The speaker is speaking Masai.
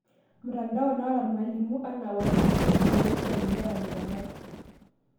Mtanadao naata irmalimu anna ( Whatsaap, facebook) peishori inkera intemat.